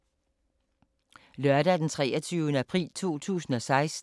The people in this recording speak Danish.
Lørdag d. 23. april 2016